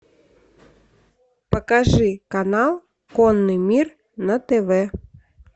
покажи канал конный мир на тв